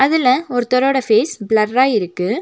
இதுல ஒருத்தரோட ஃபேஸ் ப்ளர்ரா இருக்கு.